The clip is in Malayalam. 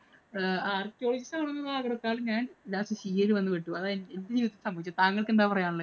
Archelogist ആവാൻ ആഗ്രഹിച്ച ഞാന്‍ lastCA യില്‍ വന്നു പെട്ടു. ഇതാണ് എനിക്ക് സംഭവിച്ചത്? താങ്കള്‍ക്ക് എന്താ പറയാന്‍ ഉള്ളേ?